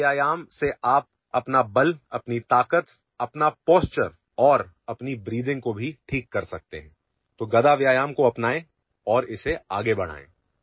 गदा व्यायामाच्या सहाय्याने तुम्ही तुमचे बळ ताकद शारीरिक स्थिती आणि श्वसनक्रिया देखील योग्य पद्धतीने करू शकता म्हणून गदा व्यायामाचा स्वीकार करा आणि त्याचा प्रसार करा